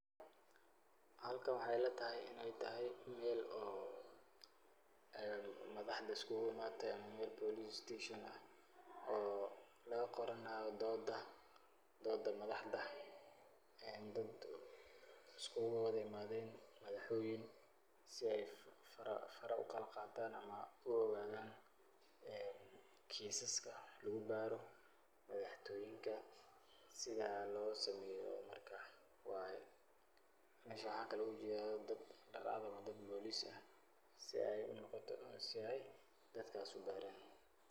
Xalkan waxay ilataxay inay taxay, mel oo en madaxda iskulaimate ama mel police station ah, oo lakagoranayo dooda, dooda madaxda, een dad iskulawada imadeen, madaxweyn mise fara fara u kalagataan ama u ogadan een kisaska lagubaroo, madaxtoyinka , sidha losameyo marka waye, mesha waxan ogajeda dad dar cad ama dad police ah, si ayy dadkas ubaraan.